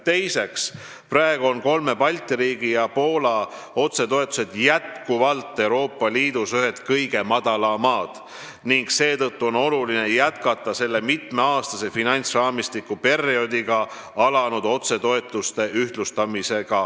Teiseks, praegu on kolme Balti riigi ja Poola otsetoetused jätkuvalt Euroopa Liidus ühed kõige madalamad ning seetõttu on oluline jätkata mitmeaastase finantsraamistiku perioodil alanud otsetoetuste ühtlustamist.